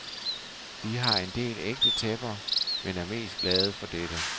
Vi har en del ægte tæpper, men er mest glade for dette.